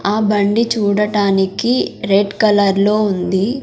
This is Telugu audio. ఆ బండి చూడటానికి రెడ్ కలర్ లో ఉంది.